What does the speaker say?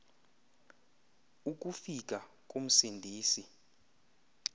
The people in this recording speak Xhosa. uku fika komsindisi